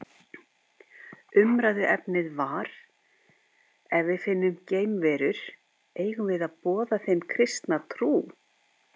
Umræðuefnið var Ef við finnum geimverur, eigum við að boða þeim kristna trú?